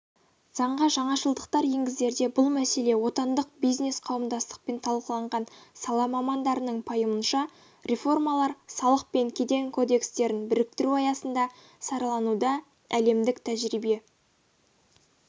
заңға жаңашылдықтар енгізерде бұл мәселе отандық бизнес-қауымдастықпен талқыланған сала мамандарының пайымынша реформалар салық пен кеден кодекстерін біріктіру аясында саралануда әлемдік тәжірибе